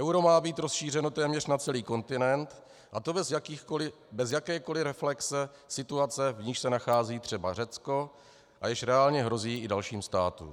Euro má být rozšířeno téměř na celý kontinent, a to bez jakékoli reflexe situace, v níž se nachází třeba Řecko a jež reálně hrozí i dalším státům.